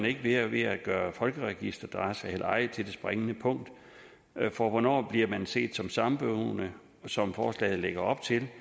ikke ved at ved at gøre folkeregisteradresse eller ej til det springende punkt for hvornår bliver man set som samboende som forslaget lægger op til det